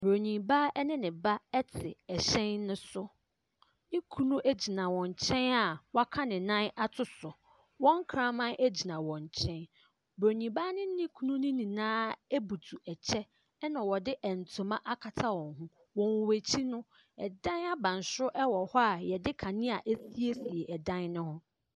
Buronin baa ne ne ba te ɛhyɛn no so. Ne kunu gyina wɔn nkyɛn a waka ne nan ato so. Wɔn kraman gyina wɔn nkyɛn. Buronin baa ne ne kunu no nyinaa butu ɛkyɛ, ɛna wɔde ntoma akata wɔn ho. Wɔ wɔn akyi no, ɛdan abansoro wɔ hɔ a wɔde kanea asiesie ɛdan no ho.